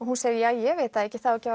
hún segir ja ég veit það ekki það á ekki